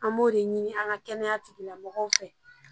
An b'o de ɲini an ka kɛnɛya tigilamɔgɔw fɛ